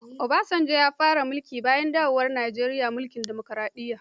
Obasanjo ne ya fara mulki bayan dawowar Nijeriya mulkin dimokaraɗiyya.